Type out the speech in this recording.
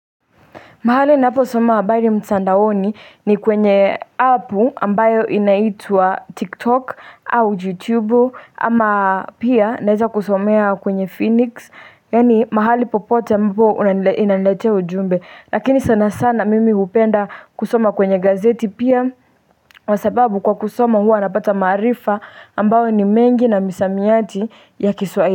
Mahali ninapo soma habari mutandaoni ni kwenye apu ambayo inaitwa tiktok au YouTube ama pia naweza kusomea kwenye phoenix. Yani mahali popote ambapo inanilete ujumbe. Lakini sana sana mimi upenda kusoma kwenye gazeti pia. Kwa sababu kwa kusoma huwa napata maarifa ambayo ni mengi na misamiati ya kiswahili.